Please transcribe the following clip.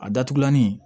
A datugulanin